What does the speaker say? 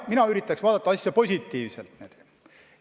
Mina üritaks asja positiivselt vaadata.